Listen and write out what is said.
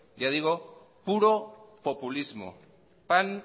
ya digo puro populismo pan